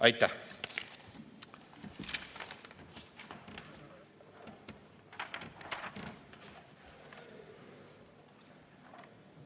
Aitäh!